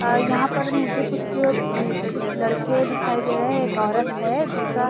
अ यहाँ पर मुझे कुछ अम्म कुछ लड़के दिखाई दे रहे है एक औरत है जिसका --